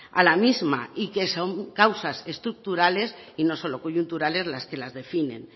a la misma y que son causas estructurales y no solo coyunturales las que las definen